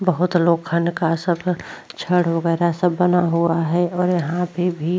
बोहोत लोग छड़ वगैरह सब बना हुआ है और यहाँ पे भी --